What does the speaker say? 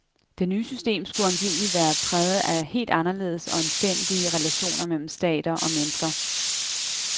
Det nye system skulle angiveligt være præget af helt anderledes og anstændige relationer mellem stater og mennesker.